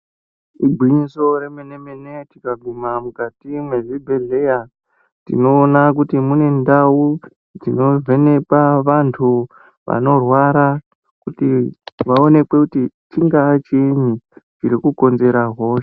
Igwinyiso remene mene tikaguma mukati mezvibhedhlera tinoona kuti mune ndau dzinovhenekwa vantu vanorwara kuti vaonekwe kuti chingava chini chiri kukonzera hosha.